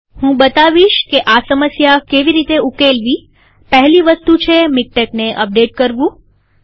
હું બતાવીશ કે આ સમસ્યા કેવી રીતે ઉકેલવીપહેલી વસ્તુ છે મીક્ટેકને અપડેટ કરવું